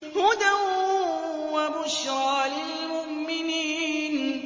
هُدًى وَبُشْرَىٰ لِلْمُؤْمِنِينَ